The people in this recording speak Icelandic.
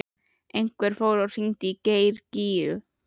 Einhver fór og hringdi í Geir Gígju.